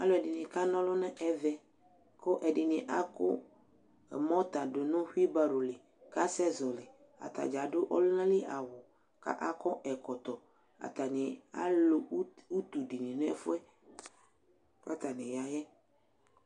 Alʊ ɛdini ka ŋolʊ nʊ ɛʋɛ kʊ ɛdini mɔta du hʊɩbaro lɩ ka sɛ zɔlɩ Ataɖza adʊ ɔlʊŋalɩ awʊ ka kɔ ɛƙɔtɔ Ataŋɩ alʊ ʊtʊ dini ŋʊ ɛfʊɛ katani ya ƴɛ